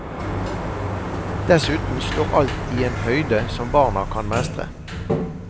Dessuten står alt i en høyde som barna kan mestre.